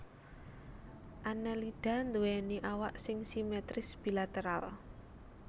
Annelida nduwèni awak sing simetris bilateral